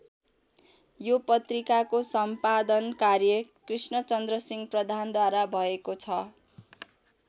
यो पत्रिकाको सम्पादन कार्य कृष्णचन्द्र सिंह प्रधानद्वारा भएको छ।